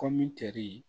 Kɔmi teri